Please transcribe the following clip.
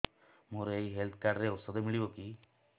ମୋର ଏଇ health card ରେ ଔଷଧ ମିଳିବ କି